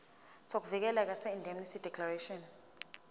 sokuvikeleka seindemnity declaration